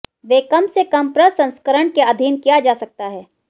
वे कम से कम प्रसंस्करण के अधीन किया जा सकता है